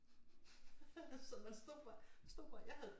Så man stod bare vi stod bare jeg havde et